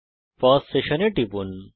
পাউস session এ টিপুন